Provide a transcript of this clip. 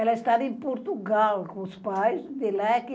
Ela estava em Portugal com os pais, de leque,